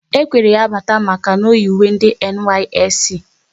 E kwere ya bata maka na oyi uwe ndị NYSC